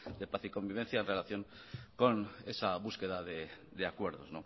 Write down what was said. de paz y convivencia en relación con esa búsqueda de acuerdos